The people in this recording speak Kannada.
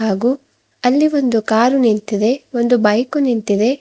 ಮತ್ತು ಅಲ್ಲಿ ಒಂದು ಕಾರು ನಿಂತಿದೆ ಒಂದು ಬೈಕು ನಿಂತಿದೆ.